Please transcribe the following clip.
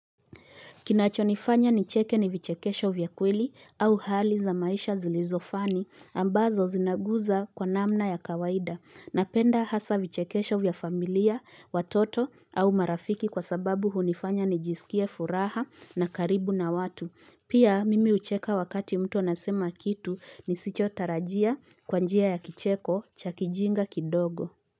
Kinachonifanya nicheke ni vichekesho vya kweli au hali za maisha zilizofani ambazo zinaguza kwa namna ya kawaida napenda hasa vichekesho vya familia, watoto au marafiki kwa sababu hunifanya nijisikie furaha na karibu na watu. Pia mimi ucheka wakati mtu anasema kitu nisicho tarajia kwa njia ya kicheko cha kijinga kidogo.